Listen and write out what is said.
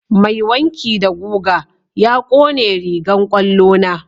Mai wanki da guga ya ƙone rigan kwallo na.